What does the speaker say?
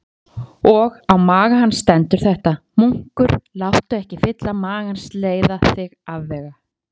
Og á maga hans stendur þetta: Munkur, láttu ekki fylli magans leiða þig afvega.